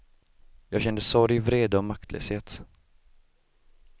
Jag kände sorg, vrede och maktlöshet.